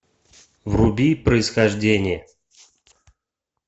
вруби происхождение